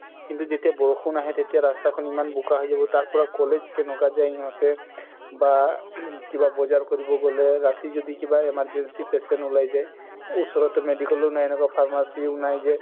কিন্তু যেতিয়া বৰষুণ আহে তেতিয়া ৰাস্তাখ্ন ইমান বুকা হয় যাব তাৰ পৰা college কেনেকুৱা যাই সিহতে বা কিবা বজাৰ কৰিব ৰাতি যদি কিবা emergency patient উলাই যাই ওচৰতো এনেকুৱা medical ও নাই pharmacy ও নাই যে